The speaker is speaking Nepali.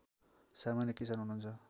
सामान्य किसान हुनुहुन्छ